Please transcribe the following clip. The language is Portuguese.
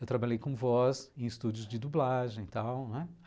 Eu trabalhei com voz em estúdios de dublagem e tal não é.